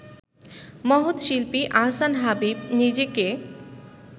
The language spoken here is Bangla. মহৎ শিল্পী আহসান হাবীব নিজেকে